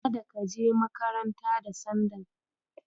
Kada ka je makaranta da sandal.